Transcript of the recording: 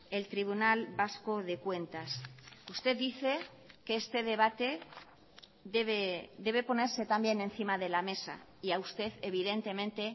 el tribunal vasco de cuentas usted dice que este debate debe ponerse también encima de la mesa y a usted evidentemente